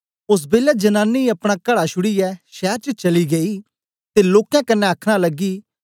ओस बेलै जनानी अपना घड़ा छुड़ीयै शैर च चली गेई ते लोकें कन्ने अखनां लगी